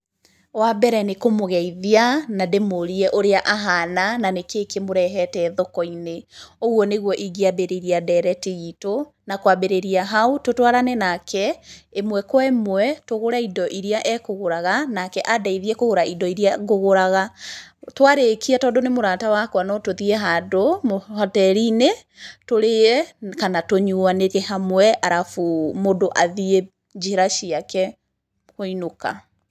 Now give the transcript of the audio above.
Wa mbere nĩ kũmũgeithia, na ndĩmũrie ũrĩa ahana, na nĩ kĩ kĩmũrehete thoko-inĩ. Ũguo nĩguo ingĩambĩrĩria ndereti itũ, na kwambĩrĩria hau tũtwarane nake ĩmwe kwa ĩmwe tũgũre indo iria ekũgũraga, nake andeithie kũgũra indo iria ngũgũraga. Twarĩkia tondũ nĩ mũrata wakwa no tũthiĩ handũ hoteri-inĩ tũrĩe kana tũnyuanĩre hamwe arabu mũndũ athiĩ njĩra ciake kũinũka.